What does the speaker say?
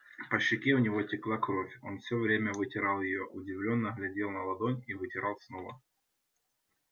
по щеке у него текла кровь он все время вытирал её удивлённо глядел на ладонь и вытирал снова